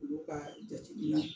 Olu ka jateminɛ